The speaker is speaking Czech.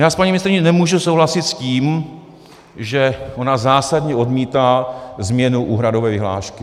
Já s paní ministryní nemůžu souhlasit v tom, že ona zásadně odmítá změnu úhradové vyhlášky.